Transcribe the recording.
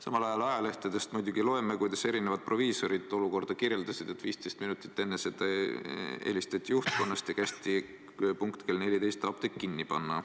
Samal ajal ajalehtedest muidugi loeme, kuidas erinevad proviisorid olukorda kirjeldasid, et 15 minutit enne seda helistati juhtkonnast ja kästi punkt kell 14 apteek kinni panna.